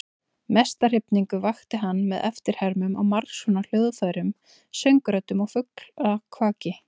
Mesta hrifningu vakti hann með eftirhermum á margskonar hljóðfærum, söngröddum og fuglakvaki.